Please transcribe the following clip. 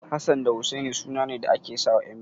Hassan da Husaini sunane da ake sawa ƴan biyu.